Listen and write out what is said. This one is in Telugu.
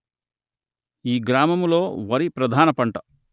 ఈ గ్రామము లో వరి ప్రధాన పంట